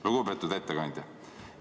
" Lugupeetud ettekandja!